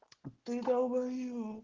ты долбаеб